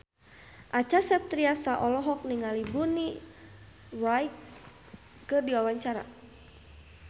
Acha Septriasa olohok ningali Bonnie Wright keur diwawancara